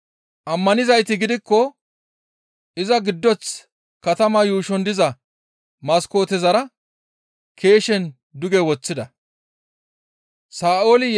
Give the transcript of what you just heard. Ammanizayti gidikko iza giddoth katamaa yuushon diza maskootezara keeshen duge woththida. Phawuloosa gimbe giddora keeshen yeggishin